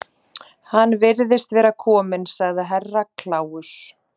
Hann virðist vera kominn, sagði Herra Kláus.